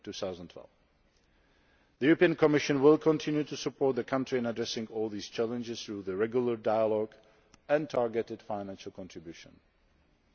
2012. The European Commission will continue to support the country in addressing all these challenges through regular dialogue and targeted financial cooperation.